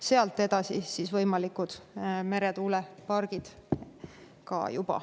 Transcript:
Sealt edasi tuleksid juba ka võimalikud meretuulepargid.